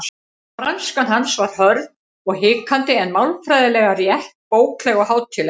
Franskan hans var hörð og hikandi en málfræðilega rétt, bókleg og hátíðleg.